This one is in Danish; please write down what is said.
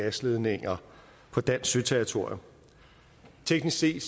gasledninger på dansk søterritorium teknisk set